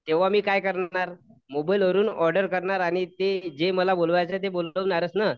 तेंव्हा मी काय करणार? मोबाईल वरून ऑर्डर करणार आणि ते जे मला बोलवायचं आहे ते बोलावणारच नं